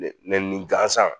Lemɛnni gansan